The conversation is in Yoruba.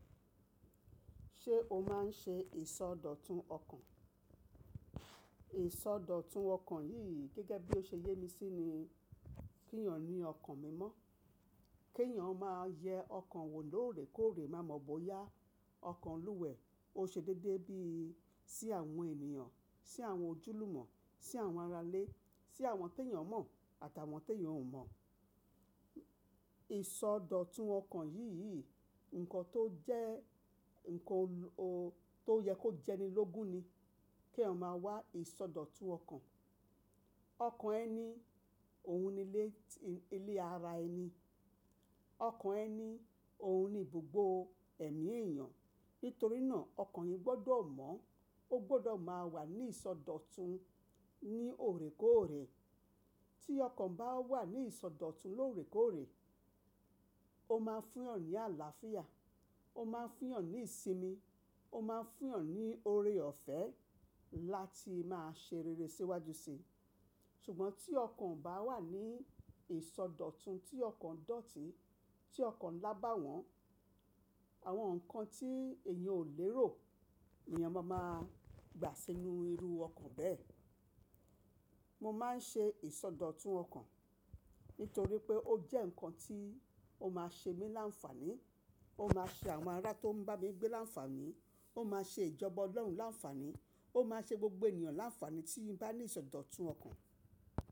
Ṣé o máa ń ṣe ìsọdọ̀tun ọkàn? Ìsọdọ̀tun ọkàn yìí gẹ́gẹ́ bí ó ṣe yé mi sí ni kí èèyàn ní ọkàn mímọ́, kèèyàn máa yẹ ọkàn wò lóòrèkóòrè, má mọ bóyá ọkàn lúwẹ̀ẹ́, ó ṣe déédéé bí i sí àwọn ènìyàn, sí àwọn ojúlùmọ̀, sí àwọn aralè, sí àwọn tèèyàn mọ̀ àtàwọn teèyàn ò mọ̀. Ìsọdọ̀tun ọkàn yìí yìí, nǹkan tó jẹ́, nǹkan tó yẹ kó jẹni lógun ni keèyàn máa wà ìsọdọ̀tun ọkàn. Ọkàn ẹni, òun ni ilé ti, ilé ara ẹni. Ọkàn ẹni, òun ni gbogbo ẹ̀mí èèyàn. Nítorí náà ọkàn yín gbọ́dọ̀ mọ́, ó gbọ́dọ̀ máa wà ní ìsọdọ̀tun ní òrèkóòrè. Tí ọkàn bá wà ní ìsọdọ̀tun lóòrèkóòrè, ó máa fún èèyàn ní àlàáfíà, ó máa fún èèyàn ní ìsinmi, ó máa fún èèyàn ní oore-ọ̀fẹ́ láti máa ṣe rere síwájú si. Sùgbọ́n tí ọkàn o bá wà ní ìsọdọ̀tun tí ọkàn dọ̀tí, tí ọkàn lábàwọ́n, àwọn nǹkan tí èèyàn ò lérò ni èèyàn máa máa gbà sínú irú ọkàn bẹ́ẹ̀. Mo máa ń ṣe ìsọdọ̀tun ọkàn nítorí pé ó jẹ́ nǹkan tí ó máa ṣe mí láǹfààní, ó máa ṣe àwọn ará tó ń bá mi gbé láǹfààní, ó máa ṣe ìjọba Ọlọ́run láǹfààní, ó máa ṣe gbogbo ènìyàn láǹfààní tí ń bá ní ìsọdọ̀tun ọkàn.